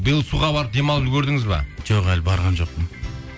биыл суға барып демалып үлгердіңіз бе жоқ әлі барған жоқпын